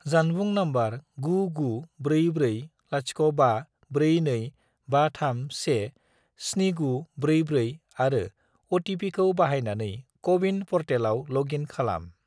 जानबुं नम्बर 99440542531 7944 आरो अ.टि.पि.खौ बाहायनानै क'-विन पर्टेलाव लग इन खालाम।